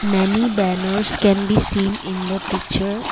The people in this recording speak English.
many banners can be seen in the picture.